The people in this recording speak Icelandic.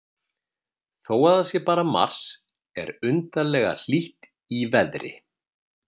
Þó að það sé bara mars er undarlega hlýtt í veðri.